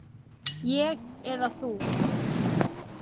Ég eða þú?